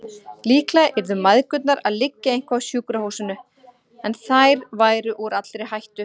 Líklega yrðu mæðgurnar að liggja eitthvað á sjúkrahúsinu, en þær væru úr allri hættu.